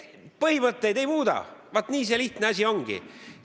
Põhimõtteid me ei muuda, vaat nii lihtne see asi ongi!